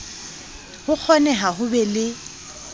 ho kgoneha ho be le